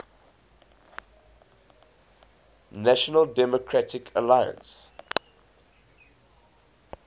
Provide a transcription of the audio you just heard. national democratic alliance